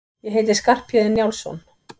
Ég heiti Skarphéðinn Njálsson!